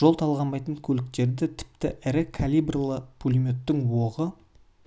жол талғамайтын көліктерді тіпті ірі калибрлы пулеметтің оғы